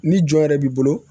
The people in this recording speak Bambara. Ni jɔn yɛrɛ b'i bolo